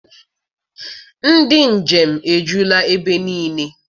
Ndị njem ejula ebe niile.